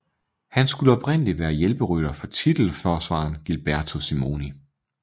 Han skulle oprindelig være hjælperytter for titelforsvaren Gilberto Simoni